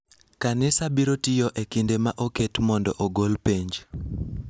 Kanisa biro tiyo e kinde ma oket mondo ogol penj.